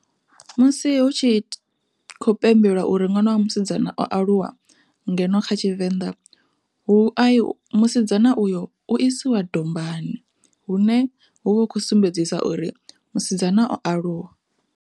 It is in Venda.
Musi hu tshi khou pembelwa uri ṅwana wa musidzana o aluwa, ngeno kha tshivenḓa hu musidzana uyo u isiwa dombani hune hu vha hu khou sumbedzisa uri musidzana o aluwa.